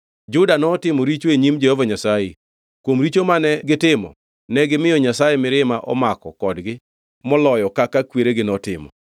Juda notimo richo e nyim Jehova Nyasaye. Kuom richo mane gitimo, negimiyo Nyasaye mirima omako kodgi moloyo kaka kweregi notimo.